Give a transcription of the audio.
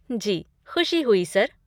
जी, खुशी हुई सर!